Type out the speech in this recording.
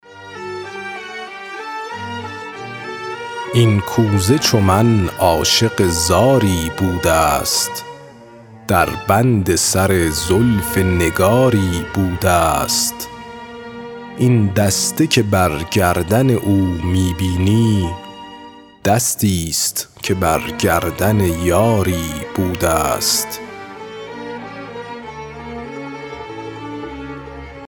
این کوزه چو من عاشق زاری بوده ست در بند سر زلف نگاری بوده ست این دسته که بر گردن او می بینی دستی ست که بر گردن یاری بوده ست